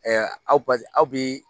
aw pasi aw bi